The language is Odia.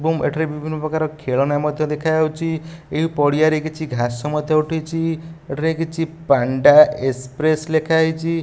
ଏବଂ ଏଠି ବିଭିନ୍ନପ୍ରକାର ଖେଳନା ମଧ୍ୟ ଦେଖାଯାଉଛି ଏହି ପଡ଼ିଆରେ କିଛି ଘାସ ମଧ୍ୟ ଉଠିଚି ଏଠାରେ କିଛି ପାଣ୍ଡା ଏକ୍ସପ୍ରେସ ଲେଖାହେଇଚି।